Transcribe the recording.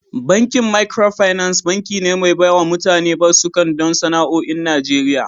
Bankin Micro finance, banki ne mai bawa mutane basuka don sana'o'i a Najeriya